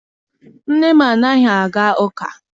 Nne m anaghị aga ụka.